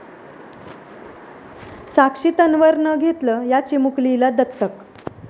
साक्षी तन्वरनं घेतलं या चिमुकलीला दत्तक